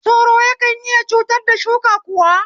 Sauro yana iya cutar da shuka kuwa?